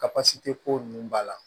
Ka pasi te ko nunnu ba la